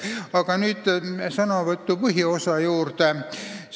Aga nüüd sõnavõtu põhiosa juurde.